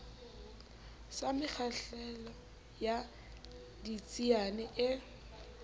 sa mekgahlelo ya ditsiane e